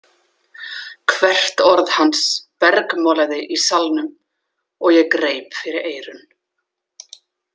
Hvert orð hans bergmálaði í salnum og ég greip fyrir eyrun.